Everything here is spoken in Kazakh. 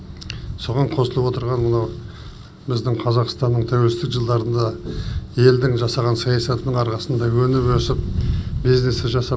соған қосылып отырған мынау біздің қазақстанның тәуелсіздік жылдарында елдің жасаған саясатының арқасында өніп өсіп бизнесі жасап